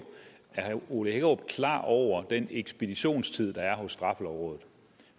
herre ole hækkerup er klar over den ekspeditionstid der er hos straffelovrådet